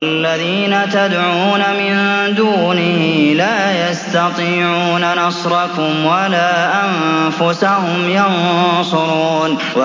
وَالَّذِينَ تَدْعُونَ مِن دُونِهِ لَا يَسْتَطِيعُونَ نَصْرَكُمْ وَلَا أَنفُسَهُمْ يَنصُرُونَ